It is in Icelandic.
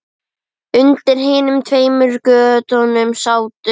Undir hinum tveimur götunum sátu